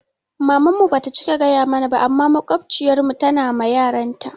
Maman mu ba ta cika gaya mana ba amma maƙwabciyar mu tana ma yaranta